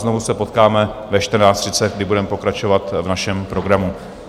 Znovu se potkáme ve 14.30, kdy budeme pokračovat v našem programu.